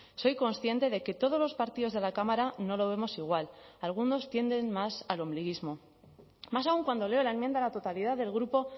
soy consciente de que todos los partidos de la cámara no lo vemos igual algunos tienden más al ombliguismo más aún cuando leo la enmienda a la totalidad del grupo